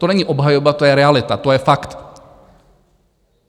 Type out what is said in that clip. To není obhajoba, to je realita, to je fakt.